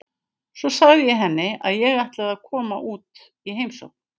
Svo sagði ég henni að ég ætlaði að koma út í heimsókn.